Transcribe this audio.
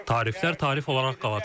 Tariflər tarif olaraq qalacaq.